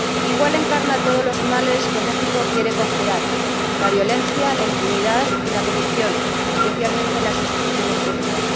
Iguala encarna todos los males que México quiere conjurar la violencia, la impunidad y la corrupción, especialmente en las instituciones públicas.